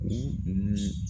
.